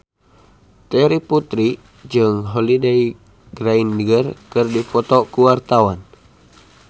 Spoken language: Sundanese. Terry Putri jeung Holliday Grainger keur dipoto ku wartawan